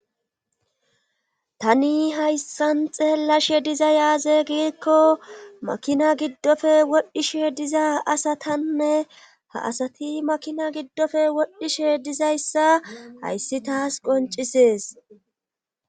tani hayssan xeellashe dizayssi aaze giikko makina giddofe wodhishe diza asatanne ha asati makina giddofe wodhishe dizayssa hayssi taas qoncisees